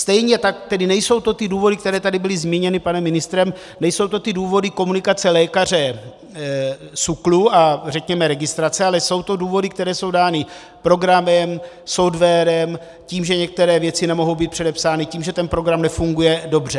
Stejně tak tedy nejsou to ty důvody, které tady byly zmíněny panem ministrem, nejsou to ty důvody komunikace lékaře, SÚKLu a řekněme registrace, ale jsou to důvody, které jsou dány programem, softwarem, tím, že některé věci nemohou být předepsány, tím, že ten program nefunguje dobře.